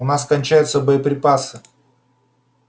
у нас кончаются боеприпасы